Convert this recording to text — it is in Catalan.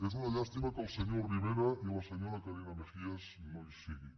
és una llàstima que el senyor rivera i la senyora carina mejías no hi siguin